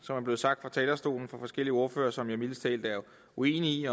som er blevet sagt fra talerstolen af forskellige ordførere som jeg mildest talt er uenig